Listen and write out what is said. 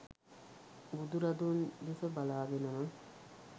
බුදුරදුන් දෙස බලාගෙනම